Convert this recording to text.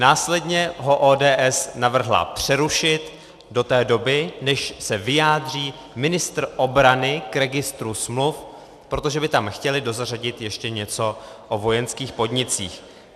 Následně ho ODS navrhla přerušit do té doby, než se vyjádří ministr obrany k registru smluv, protože by tam chtěli dozařadit ještě něco o vojenských podnicích.